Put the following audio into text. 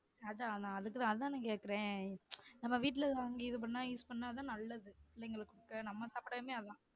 அதான் நா அதுக்கு தான் அதான் நான் கேக்குறன் நம்ம வீட்டுல வாங்கி இது பன்னா use பன்னா தான் நல்லது நம்ம சாப்டயுமே அதான்